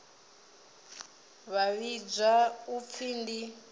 vha vhidzwa u pfi ndi